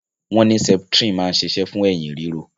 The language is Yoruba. Wọn ní septrin máa ń ṣiṣẹ́ fún eyín ríro